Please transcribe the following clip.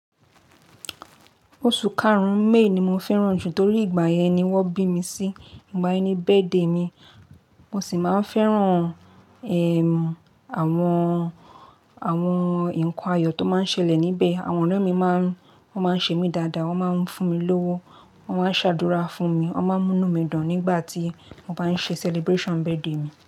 Oṣù karun-ún, May ni mo fẹ́ràn jù torí ìgbà yẹn ni wọ́n bí mi sí. Ìgbà yẹn ni birthday mi. Mo sì máa ń fẹ́ràn, ẹm, àwọn, àwọn nǹkan ayọ̀ tó máa ń ṣẹlẹ̀ níbẹ̀. Àwọn ọ̀rẹ́ mi máa ń, wọ́n máa ń ṣe mí dáadáa. Wọ́n máa ń fún mi lówó, wọ́n máa ń ṣe àdúrà fún mi, wọ́n máa ń mú inú mi dùn nígbà tí mo bá ń ṣe celebration birthday mi.